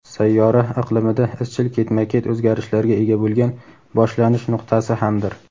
sayyora iqlimida izchil ketma-ket o‘zgarishlarga ega bo‘lgan "boshlanish nuqtasi" hamdir.